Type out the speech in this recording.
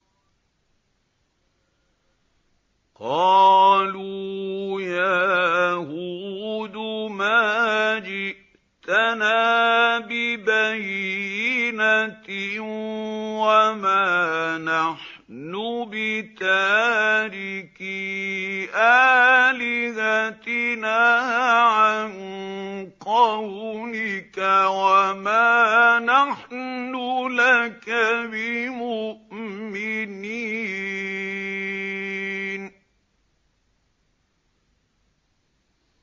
قَالُوا يَا هُودُ مَا جِئْتَنَا بِبَيِّنَةٍ وَمَا نَحْنُ بِتَارِكِي آلِهَتِنَا عَن قَوْلِكَ وَمَا نَحْنُ لَكَ بِمُؤْمِنِينَ